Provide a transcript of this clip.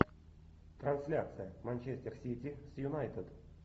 трансляция манчестер сити с юнайтед